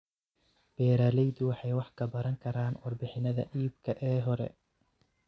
Beeraleydu waxay wax ka baran karaan warbixinnada iibka ee hore.